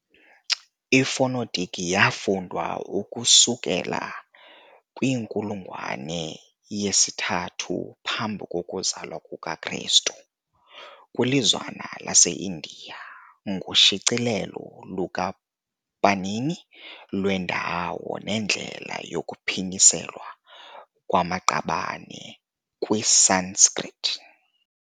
Ifonetiki yafundwa ukusukela kwiinkulungwane yesithathu phambi kokuzalwa kukaKrestu kwilizwana lase-India, ngoshicilelo lukaPanini lwendawo nendlela yokuphinyiselwa kwamaqabane kwiSanskrit.